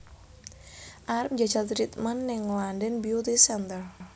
Arep njajal treatment ning London Beauty Center